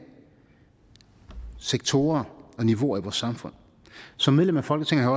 sektorer og niveauer i vores samfund som medlem af folketinget har